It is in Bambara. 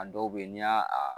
A dɔw bɛ yen n'i y'a a